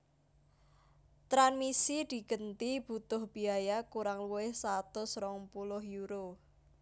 Tranmisi digenti butuh biaya kurang luwih satus rong puluh euro